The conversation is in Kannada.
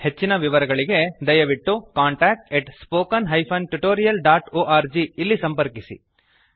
ಹೆಚ್ಚಿನ ವಿವರಗಳಿಗೆ ದಯವಿಟ್ಟು contactspoken tutorialorg ಇಲ್ಲಿ ಸಂಪರ್ಕಿಸಿ